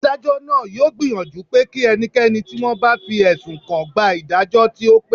Adájọ́ náà yóò gbìyànjú pé kí ẹnikẹ́ni tí wọ́n bá fi ẹ̀sùn kàn gba ìdájọ́ tí ó pé